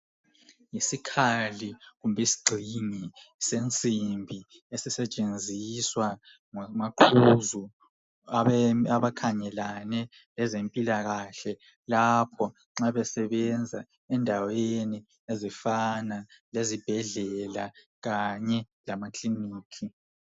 Isikhali kumbe isigxingi sensimbi esisentshenziswa ngomaqhuzu abakhangelane lezempilakahle lapho nxa besebenza endaweni ezifana lezibhedlela kanye lama klinikhi.